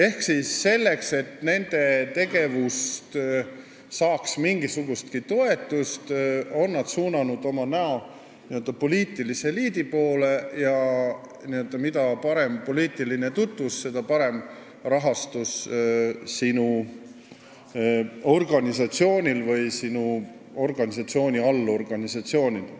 Nad on selleks, et nende tegevus saaks mingisugustki toetust, suunanud oma näo poliitilise eliidi poole: mida parem poliitiline tutvus sul on, seda parem rahastus on ka sinu organisatsioonil või sinu organisatsiooni allorganisatsioonil.